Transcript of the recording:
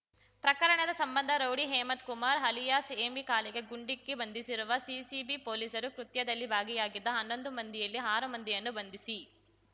ಪ್ರಕರಣದ ಸಂಬಂಧ rowdy Hemanth Kumar alias Hemi ಕಾಲಿಗೆ ಗುಂಡಿಕ್ಕಿ ಬಂಧಿಸಿರುವ ಸಿಸಿಬಿ ಪೊಲೀಸರು ಕೃತ್ಯದಲ್ಲಿ ಭಾಗಿಯಾಗಿದ್ದ ಹನ್ನೊಂದು ಮಂದಿಯಲ್ಲಿ ಆರು ಮಂದಿಯನ್ನು ಬಂಧಿಸಿ